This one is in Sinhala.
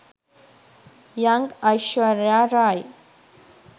young aishwarya rai